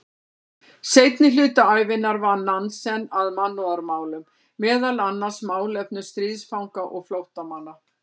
Seinni hluta ævinnar vann Nansen að mannúðarmálum, meðal annars málefnum stríðsfanga og flóttamanna.